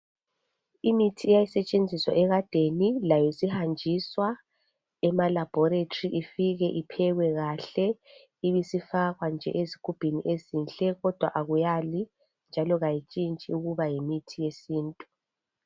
Imithi iyasetshenziswa ekadeni layo isihanjiswa emalabhoritri ifike iphekwe kahle ibisifakwa nje ezigubhini ezinhle kodwa akuyali njalo akuntshintshi ukuba yimithi yesintu.